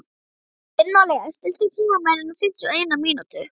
Gunnóli, stilltu tímamælinn á fimmtíu og eina mínútur.